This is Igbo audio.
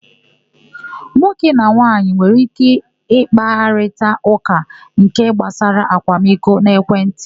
Nwoke na nwaanyị nwere íké ịkparịta ụka nke gbasara akwamiko n'ekwentị.